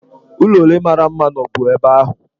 Ụlọ ole mara mma nọbu ebe ahụ?